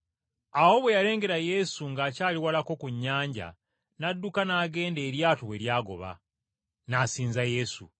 Awo bwe yalengera Yesu ng’akyali walako ku nnyanja n’adduka n’agenda eryato we lyagoba, n’asinza Yesu.